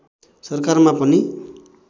सरकारमा पनि